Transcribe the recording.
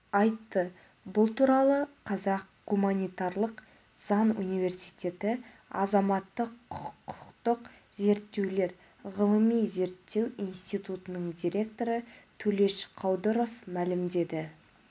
айтты бұл туралы қазақ гуманитарлық заң университеті азаматтық-құқықтық зерттеулер ғылыми-зерттеу институтының директоры төлеш қаудыров мәлімдеді